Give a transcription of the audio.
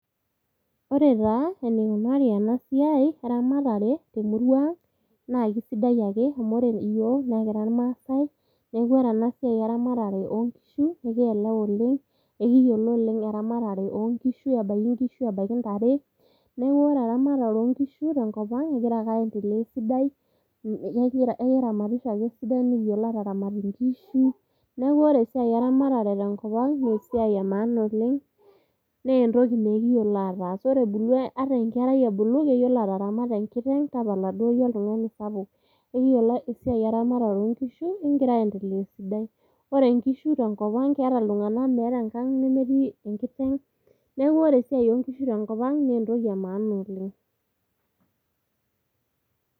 Ore taa enikunari ena siai eramatare temurua ang naa kisidai ake amu ore iyiook naa ekira irmaasae .Niaku ore ena siai eramatare oonkishu ekielewa oleng, ekiyiolo oleng eramatare oonkishu, ebaiki ntare. Niaku ore eramatare oonkishu tenkopang egira ake aendelea esidai ,ekiramatisho ake esidai , nikiyiolo ataramat inkishu. Niaku ore esiai eramatare tenkop ang naa esiai emaana oleng naa entoki naa ekiyiolo ataas ebulu ata enkerai ebulu keyiolo ataramata enkiteng ,tapala duo yie oltungani sapuk. Ekiyiolo eramatare oonkishu ekingira aendelea esidai . Ore nkishu tenkopang keeta iltunganak, meeta enkang nemetii enkiteng, niaku ore esiai enkiteng tenkopang naa entoki emaana oleng.